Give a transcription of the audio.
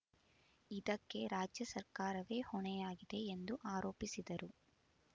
ಇದಕ್ಕೆ ರಾಜ್ಯ ಸರ್ಕಾರವೇ ಹೊಣೆಯಾಗಿದೆ ಎಂದು ಆರೋಪಿಸಿದರು